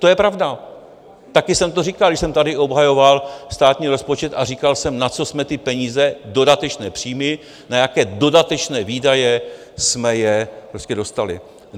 To je pravda, taky jsem to říkal, když jsem tady obhajoval státní rozpočet a říkal jsem, na co jsme ty peníze, dodatečné příjmy, na jaké dodatečné výdaje jsme je dostali.